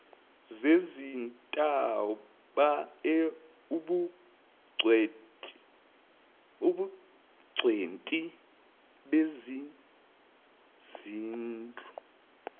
zezintaba ubungcweti bezezindlu